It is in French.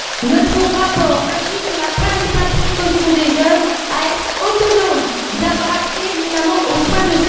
Notre rapport insiste sur la principale précaution des jeunes à être autonomes, à avoir accès notamment aux soins de santé et à disposer d'un logement décent à un prix raisonnable.